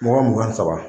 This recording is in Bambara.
Mɔgɔ mugan ni saba